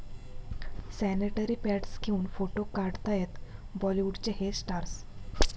sanitary pads घेऊन photo काढतायत बॉलिवूडचे 'हे' स्टार्स